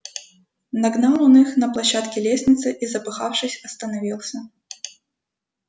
нагнал он их на площадке лестницы и запыхавшись остановился